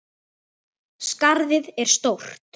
Skarðið er stórt.